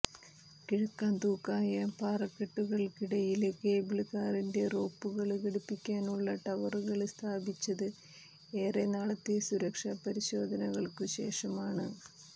കിഴുക്കാംതൂക്കായ പാറക്കെട്ടുകള്ക്കിടയില് കേബിള് കാറിന്റെ റോപ്പുകള് ഘടിപ്പിക്കാനുള്ള ടവറുകള് സ്ഥാപിച്ചത് ഏറെനാളത്തെ സുരക്ഷാ പരിശോധനകള്ക്കു ശേഷമാണ്